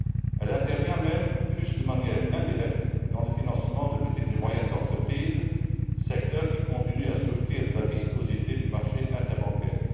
Elle intervient même, fût ce de manière indirecte, dans le financement de petites et moyennes entreprises, secteur qui continue à souffrir de la viscosité du marché interbancaire.